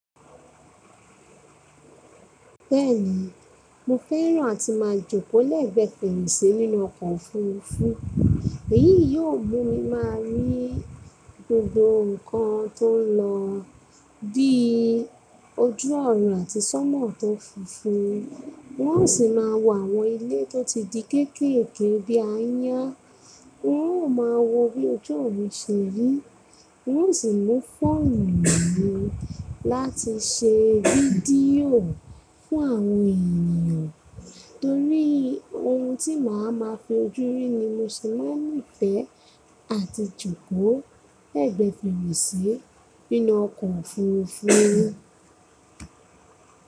Bẹ́ẹ̀ni, mo fẹ́ràn àti máa jókòó lẹ́gbẹ̀ẹ́ fèrèsé nínú ọkọ̀ òfuurufú, èyí yóò mú mi máa rí gbogbo nǹkan tó ń lọ, bí i ojú ọ̀run àti sọ́mọ̀ tó funfun. N ó sì máa wo àwọn ilé tó ti di kéékèèké bí i aáyán, n ó máa wo bí ojú ọ̀run ṣe rí, n ó sì mú fóònù mi láti ṣe fídíò fún àwọn ènìyàn, torí ohun tí màá máa fi ojú rí ni mo ṣe máa ń ni fẹ́ àti jókòó lẹ́gbẹ̀ẹ́ fèrèsé nínú ọkọ̀ òfuurufú.